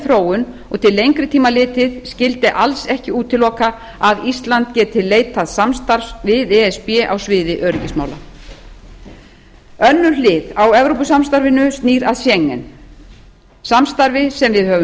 þróun og til lengri tíma litið skyldi alls ekki útiloka að ísland geti leitað samstarfs við e s b á sviði öryggismála önnur hlið á evrópusamstarfinu snýr að schengen samstarfi sem við höfum